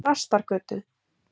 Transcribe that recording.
Þrastargötu